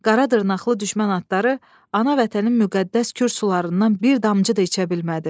Qara dırnaqlı düşmən atları ana vətənin müqəddəs Kür sularından bir damcı da içə bilmədi.